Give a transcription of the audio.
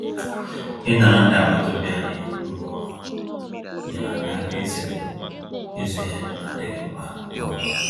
Ịnara ndị agbataobi anyị ngwá ọrụ ha, nyeere anyị aka izere ịzụ ihe ndị n'adịghị mkpa n'ọnwa a